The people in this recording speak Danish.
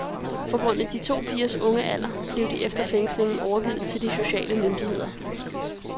På grund af de to pigers unge alder blev de efter fængslingen overgivet til de sociale myndigheder.